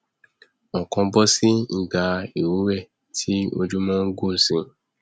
ọkan bọsí ìgbà ìrúwé tí ojúmọ ngùn síi